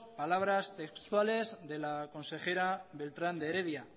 palabras textuales de la consejera beltrán de heredia